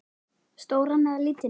Stóran eða lítinn?